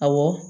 Awɔ